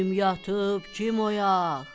Kim yatıb, kim oyaq?